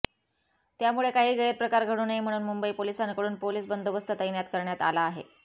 त्यामुळे काही गैरप्रकार घडू नये म्हणून मुंबई पोलिसांकडून पोलीस बंदोबस्त तैनात करण्यात आला आहे